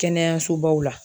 Kɛnɛyasobaw la.